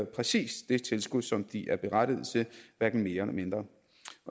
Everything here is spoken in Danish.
præcis det tilskud som de er berettiget til hverken mere eller mindre